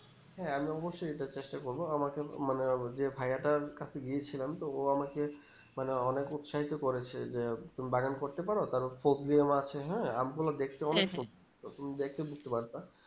হ্যাঁ আমি অবশ্যই এটার চেষ্টা করবো আমার কিমানে যে ভায়াটার কাছে গিয়েছিলাম তো ও আমাকে মানে অনিক উৎসাহিত করেছে যে তুমি বাগান করতে পারো তাহলে কোপ দিয়ে মারছে হ্যাঁ আম গুলো দেখতে অনেক সুদোর তুমি দেখে বুজতে পড়তা